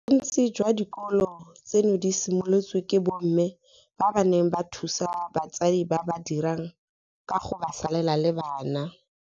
Bontsi jwa dikolo tseno di simolotswe ke bomme ba ba neng ba thusa batsadi ba ba dirang ka go ba salela le bana.